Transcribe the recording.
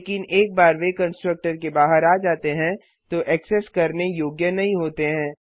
लेकिन एक बार वे कंस्ट्रक्टर के बाहर आ जाते हैं तो एक्सेस करने योग्य नहीं होते हैं